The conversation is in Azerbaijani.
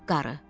Qarı: